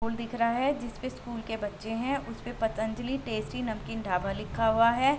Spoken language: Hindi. स्कूल दिख रहा हैं जिसपे स्कूल के बच्चे दिख रहे हैं उसमें पतंजलि टेस्टी नमकीन ढाबा लिखा हुआ हैं।